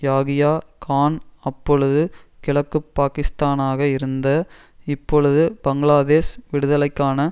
யாகியா கான் அப்பொழுது கிழக்கு பாக்கிஸ்தானாக இருந்த இப்பொழுது பங்களாதேஷ் விடுதலைக்கான